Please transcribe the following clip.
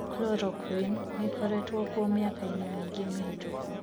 Chloroquine niikoretwo kuo miakaini miingi mihitũku.